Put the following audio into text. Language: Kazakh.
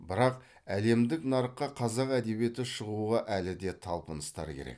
бірақ әлемдік нарыққа қазақ әдебиеті шығуға әлі де талпыныстар керек